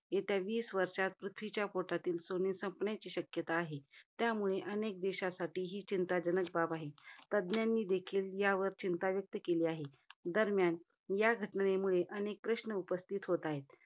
येत्या वीस वर्षात पृथ्वीच्या पोटातील सोने संपण्याची शक्यता आहे. त्यामुळे अनेक देशांसाठी ही चिंताजनक बाब आहे. तज्ञांनी देखील यावर चिंता व्यक्त केली आहे. दरम्यान या घटनेमुळे, अनेक प्रश्न निर्माण उपस्थित होत आहेत.